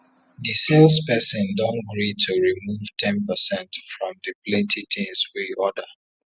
di sales person don gree to remove ten percent from the plenty things we order